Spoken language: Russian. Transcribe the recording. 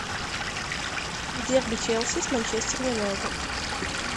дерби челси с манчестер юнайтед